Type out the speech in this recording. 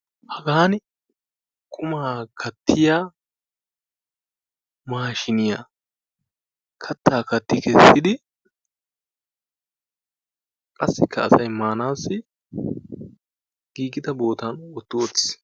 Hagaani qumaa kattiyaa maashiniya kattaa katti kessidi qassikka asay maanaassi giigida bootan wotti wottis.